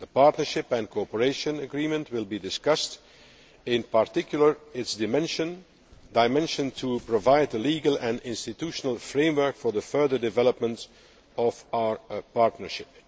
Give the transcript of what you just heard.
The Partnership and Cooperation Agreement will be discussed, in particular, its dimension to provide a legal and institutional framework for the further development of our partnership.